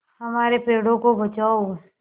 हमारे पेड़ों को बचाओ